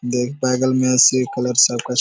देख बगल में एसीए कलर सब का स --